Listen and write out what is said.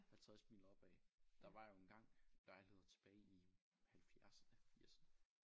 50 mil opad der var jo engang lejligheder tilbage i halvfjerdserne firserne